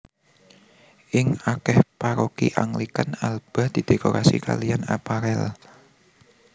Ing akeh paroki Anglikan alba didekorasi kalian apparel